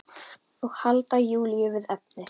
Og halda Júlíu við efnið.